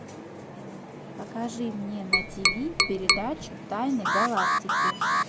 покажи мне на тв передачу тайны галактики